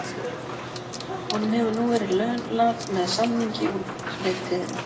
Honum hefur nú verið launað með samning út leiktíðina.